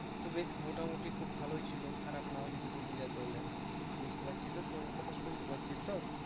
তো বেশ মোটামুটি খুব ভালোই ছিলো খারাপ না আমি যদি বলতে যাই তাহলে, বুঝতে পারছিস তো তু আমার কথা শুনতে পাচ্ছিস তো?